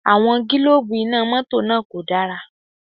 Àwọn gílóòbù Iná mọ́tọ̀ náà kò dára